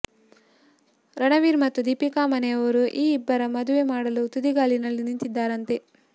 ರಣವೀರ್ ಮತ್ತು ದೀಪಿಕಾ ಮನೆಯವರು ಈ ಇಬ್ಬರ ಮದುವೆ ಮಾಡಲು ತುದಿಗಾಲಲ್ಲಿ ನಿಂತಿದ್ದಾರಂತೆ